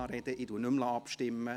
Ich lasse nicht mehr abstimmen.